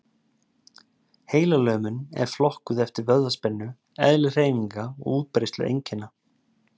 Heilalömun er flokkuð eftir vöðvaspennu, eðli hreyfinga og útbreiðslu einkenna.